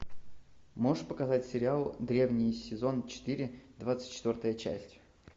можешь показать сериал древние сезон четыре двадцать четвертая часть